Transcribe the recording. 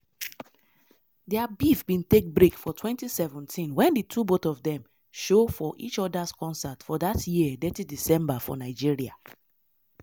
dia beef bin take break for 2017 wen di two both of dem show for each odas concert for dat year detty december for nigeria.